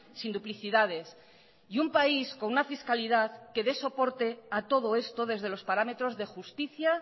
sin duplicidades y un país con una fiscalidad que dé soporte a todo esto desde los parámetros de justicia